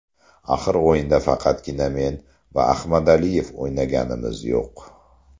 Axir o‘yinda faqatgina men va Ahmadaliyev o‘ynaganimiz yo‘q.